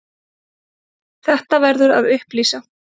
Þetta verður að upplýsa.